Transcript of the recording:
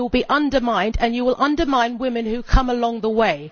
You will be undermined and you will undermine women who come along that way.